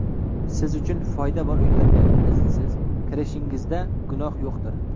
siz uchun foyda bor uylarga (iznsiz) kirishingizda gunoh yo‘qdir.